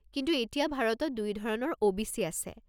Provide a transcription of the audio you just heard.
কিন্তু এতিয়া ভাৰতত দুই ধৰণৰ ও.বি.চি. আছে।